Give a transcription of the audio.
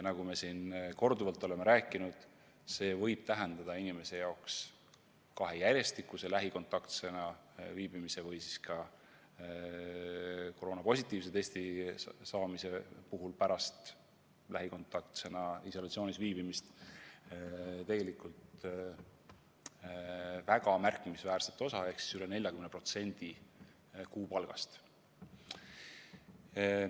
Nagu me siin korduvalt oleme rääkinud, see võib tähendada inimese jaoks, kui ta näiteks kahe järjestikuse lähikontaktsena kodus viibimise või siis ka koroonapositiivse testi tegemise tõttu on isolatsioonis pidanud viibima, tegelikult väga märkimisväärset kaotust ehk üle 40% kuupalgast.